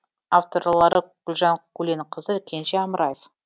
авторлары гүлжан көленқызы кенже амраев